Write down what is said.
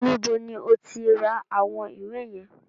Níbo ni o ti ra àwọn ìwé yẹn?